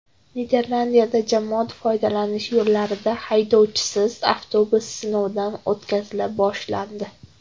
Niderlandiyada jamoat foydalanish yo‘llarida haydovchisiz avtobus sinovdan o‘tkazila boshlandi.